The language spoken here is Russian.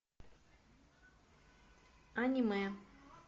аниме